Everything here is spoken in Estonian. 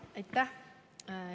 Aitäh!